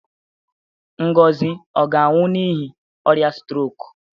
Ngozi ọ ga-anwụ n'ihi ọrịa strok?